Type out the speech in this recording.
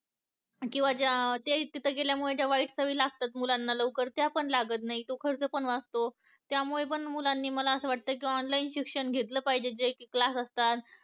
किंवा तिथं गेल्या मुले ज्या वाईट सवयी लागतात मुलांना लवकर त्या पण लागत नाही. तो खर्च पण वाचतो त्यामुळे पण मुलांनी मला असं वाटतंय कि online शिक्षण घेतलं पाहिजे. की जे class असतात.